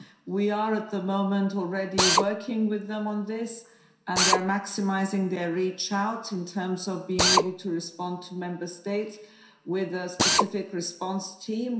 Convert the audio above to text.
We are, at the moment, already working with them on this and they are maximising their outreach in terms of being able to respond to Member States with a specific response team.